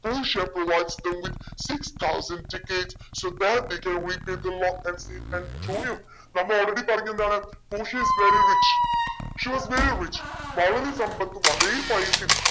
പോഷിയ provides him with six thousand ticketsso that they can repay the loan and save Antonio നമ്മൾ already പറഞ്ഞു എന്താണ് പോഷിയ is very rich she was very rich വളരെ സമ്പത്തും വളരെ പൈസയും